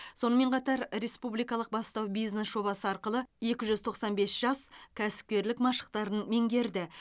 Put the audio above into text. сонымен қатар республикалық бастау бизнес жобасы арқылы екі жүз тоқсан бес жас кәсіпкерлік машықтарын меңгерді